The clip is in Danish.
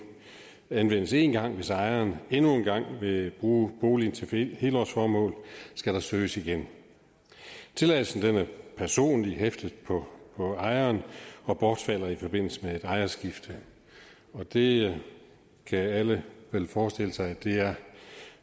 anvendes én gang hvis ejeren endnu en gang vil bruge boligen til helårsformål skal der søges igen tilladelsen er personligt hæftet på ejeren og bortfalder i forbindelse med et ejerskifte og det kan alle vel forestille sig er